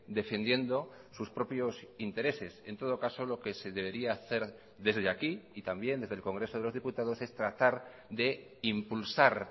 defendiendo sus propios intereses en todo caso lo que se debería hacer desde aquí y también desde el congreso de los diputados es tratar de impulsar